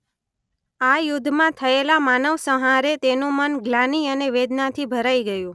આ યુધ્ધમાં થયેલા માનવસંહારે તેનું મન ગ્લાનિ અને વેદનાથી ભરાઇ ગયુ.